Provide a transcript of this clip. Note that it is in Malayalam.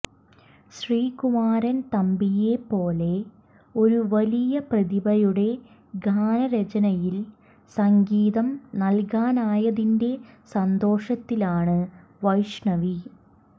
ശ്രീകുമാരൻ തമ്പിയെ പോലെ ഒരു വലിയ പ്രതിഭയുടെ ഗാനരചനയിൽ സംഗീതം നൽകാനായതിന്റെ സന്തോഷത്തിലാണ് വൈഷ്ണവി